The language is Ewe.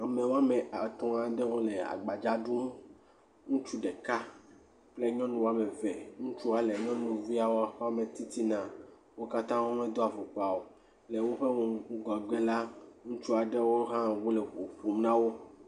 ame woame atɔ aɖewo le agbadza ɖum ŋutsu ɖeka kple nyɔnu woameve ŋutsua le nyɔnuviawo wó me titina wókatã wome dó afɔkpa o ye le wóƒe ŋgɔgbe la ŋutsuaɖewo le ʋuƒom nawo